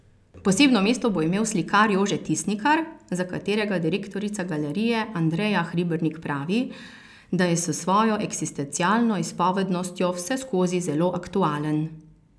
Posebno mesto bo imel slikar Jože Tisnikar, za katerega direktorica galerije Andreja Hribernik pravi, da je s svojo eksistencialno izpovednostjo vseskozi zelo aktualen.